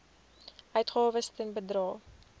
uitgawes ten bedrae